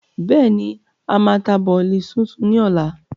Bẹ́ẹ̀ni, a máa ta bọ̀lì súnsun ni ọ̀la.